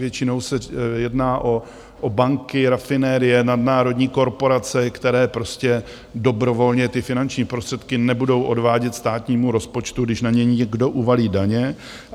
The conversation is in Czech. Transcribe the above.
Většinou se jedná o banky, rafinerie, nadnárodní korporace, které prostě dobrovolně ty finanční prostředky nebudou odvádět státnímu rozpočtu, když na ně někdo uvalí daně.